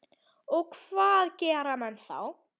Og hvað gera menn þá?